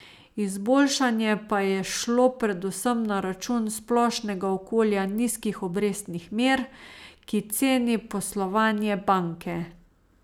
Izboljšanje pa je šlo predvsem na račun splošnega okolja nizkih obrestnih mer, ki ceni poslovanje banke.